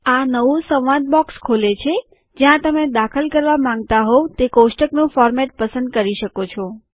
આ નવું સંવાદ બોક્સ ખોલે છે જ્યાં તમે દાખલ કરવા માંગતા હોવ તે કોષ્ટકનું ફોરમેટ પસંદ કરી શકો છો